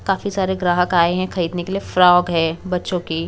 काफी सारे ग्राहक आए हैं खरीदने के लिए फ्रॉक है बच्चों की।